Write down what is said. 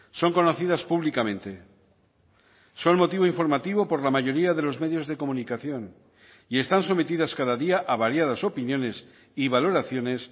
son conocidas públicamente son motivo informativo por la mayoría de los medios de comunicación y están sometidas cada día a variadas opiniones y valoraciones